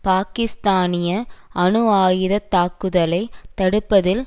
பாகிஸ்தானிய அணு ஆயுத தாக்குதலை தடுப்பதில்